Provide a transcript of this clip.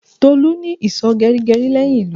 Tolu ní ìsò geri geri leyin ilu